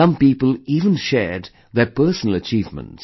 Some people even shared their personal achievements